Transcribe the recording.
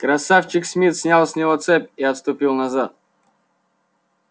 красавчик смит снял с него цепь и отступил назад